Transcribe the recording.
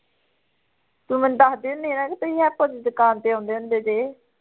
ਤੂੰ ਮੈਨੂੰ ਦੱਸਦੀ ਹੁੰਦੀ ਸੀ ਨਾ ਕਿ ਤੁਸੀਂ ਹੈਪੂ ਦੀ ਦੁਕਾਨ ਤੇ ਆਉਂਦੇ ਹੁੰਦੇ ਸੀ